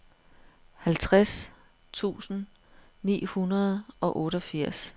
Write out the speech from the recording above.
halvtreds tusind ni hundrede og otteogfirs